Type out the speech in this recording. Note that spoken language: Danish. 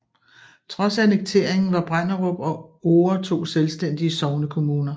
Trods annekteringen var Brenderup og Ore to selvstændige sognekommuner